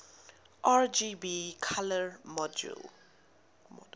rgb color model